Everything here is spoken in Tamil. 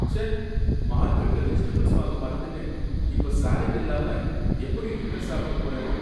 ச்சே, மார்கெட்ல வெஜிடபில்ஸ் வாங்க மறந்துட்டேன், இப்ப சாலட் இல்லாம எப்படி டின்னர் சாப்பிடப் போறேனோ!